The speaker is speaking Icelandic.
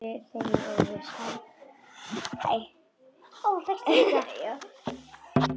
Ég þegi óviss.